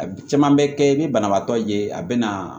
A caman bɛ kɛ i bɛ banabaatɔ ye a bɛ na